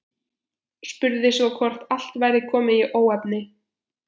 Spurði svo hvort allt væri komið í óefni.